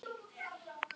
Við höfum önnur úrræði.